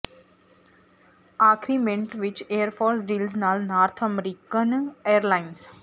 ਆਖਰੀ ਮਿੰਟ ਵਿਚ air force deals ਨਾਲ ਨਾਰਥ ਅਮਰੀਕਨ ਏਅਰਲਾਈਨਜ਼